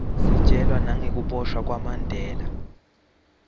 sitjelwa nagekubosha kwamandela